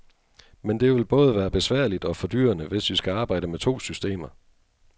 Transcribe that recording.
Men det vil både være besværligt og fordyrende, hvis vi skal arbejde med to systemer.